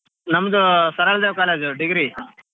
ನಮ್ದು Saraladevi college degree .